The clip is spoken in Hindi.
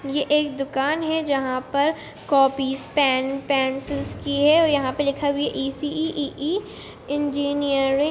ये एक दुकान है जहाँ पर कॉपीस पेन पेंसिल्स की है और यहाँ पे लिखा हुआ है E C E E E E engineering --